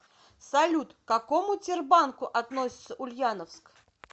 салют к какому тербанку относится ульяновск